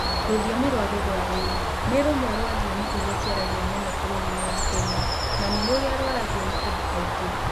Rũthiomi rwa Kĩthuerii nĩ rũmwe rwa thiomi iria ciaragio mũno bũrũri-inĩ wa Kenya na nĩ rũrĩa rũhũthagĩrũo nĩ andũ aingĩ.